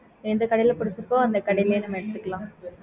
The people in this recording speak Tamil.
எந்த கடைல புடிச்சிருக்கோ அந்த கடையிலேயே நம்ம எடுத்துக்கலாம்